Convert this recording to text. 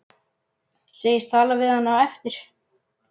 Segist tala við hana á eftir.